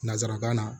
Nansarakan na